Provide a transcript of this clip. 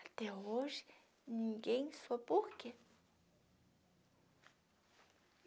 Até hoje, ninguém soube porquê.